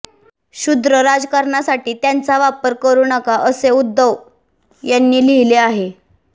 क्षुद्र राजकारणासाठी त्यांचा वापर करू नका असे उद्धव यांनी लिहीले आहे